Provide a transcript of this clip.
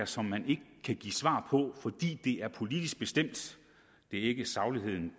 som man ikke kan give svar på fordi det er politisk bestemt det er ikke sagligheden